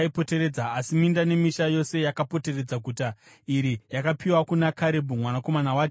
Asi minda nemisha yose yakapoteredza guta iri yakapiwa kuna Karebhu mwanakomana waJefune.